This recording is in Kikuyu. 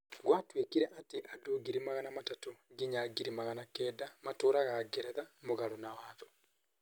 Gwatuĩkire atĩ andũ ngiri magana matatũ nginya ngiri magana kenda matũũraga Ngeretha mũgarũ na watho.